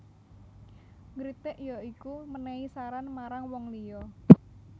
Ngritik ya iku menehi saran marang wong liya